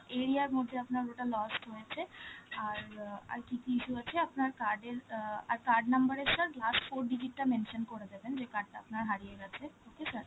area র মধ্যে আপনার ওটা lost হয়েছে, আর অ্যাঁ আর কি কি issue আছে আপনার card এর, অ্যাঁ আর card number এর sir last four digit টা mention করে দেবেন, যেই card টা আপনার হারিয়ে গেছে, okay sir?